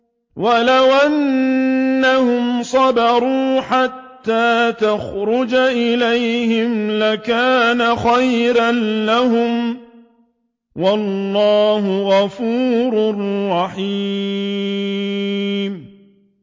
وَلَوْ أَنَّهُمْ صَبَرُوا حَتَّىٰ تَخْرُجَ إِلَيْهِمْ لَكَانَ خَيْرًا لَّهُمْ ۚ وَاللَّهُ غَفُورٌ رَّحِيمٌ